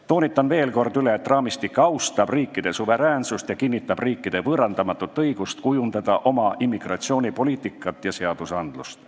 Toonitan veel kord, et raamistik austab riikide suveräänsust ja kinnitab riikide võõrandamatut õigust kujundada oma immigratsioonipoliitikat ja seadusandlust.